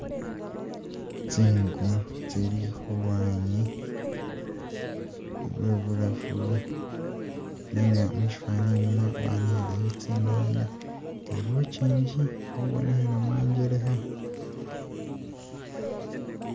Tsingu tsili khulwanyi lwebulafu nenga mushifaani inyuma banikhileyo tsinanga nibuchingi buli khubonekhela mwanjelekha